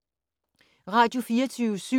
Radio24syv